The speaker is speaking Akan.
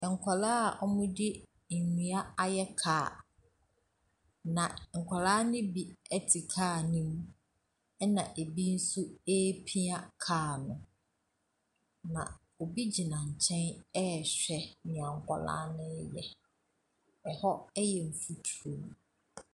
Nkwadaa ɔmu di ndua ayɛ kar na nkwadaa no bi te kar no mu ɛna ebi nso pia kar no na obi gyina nkyɛn hwɛ deɛ nkwadaa no yɛ ɛhɔ yɛ mfuturo.